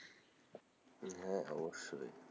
হ্যাঁ, অবশ্যই,